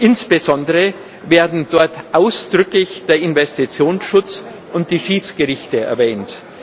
Insbesondere werden dort ausdrücklich der Investitionsschutz und die Schiedsgerichte erwähnt.